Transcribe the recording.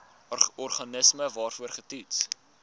organisme waarvoor getoets